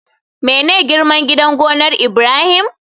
Mene girman gidan gonar Ibrahim?